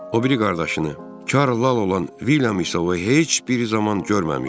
O biri qardaşını, Çarl Lal olan Vilyam isə heç bir zaman görməmişdi.